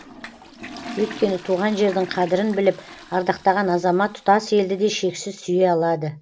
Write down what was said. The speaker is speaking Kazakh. өйкені туған жердің қадірін біліп ардақтаған азамат тұтас елді де шексіз сүйе алады